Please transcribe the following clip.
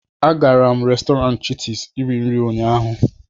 agara m Restọrantị chitis iri nri ụnyaahụ